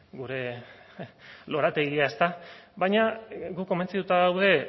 gure lorategia ezta baina guk komentzituta gaude